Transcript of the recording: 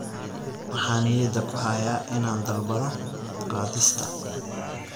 Waxaan niyadda ku hayaa inaan dalbado qaadista